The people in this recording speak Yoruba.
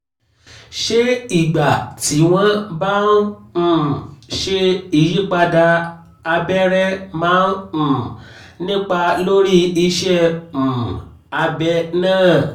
ṣé ìgbà tí wọ́n bá ń um ṣe ìyípadà abẹ́rẹ̣ máa ń um nípa lórí iṣẹ́ um abẹ náà?